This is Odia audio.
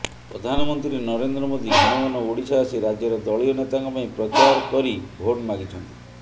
ପ୍ରଧାନମନ୍ତ୍ରୀ ନରେନ୍ଦ୍ର ମୋଦି ଘନଘନ ଓଡ଼ିଶା ଆସି ରାଜ୍ୟର ଦଳୀୟ ନେତାଙ୍କ ପାଇଁ ପ୍ରଚାର କରି ଭୋଟ ମାଗିଛନ୍ତି